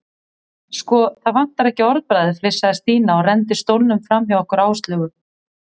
Sko, það vantar ekki orðbragðið flissaði Stína og renndi stólnum framhjá okkur Áslaugu.